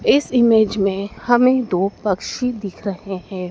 इस इमेज में हमें दो पक्षी दिख रहे हैं।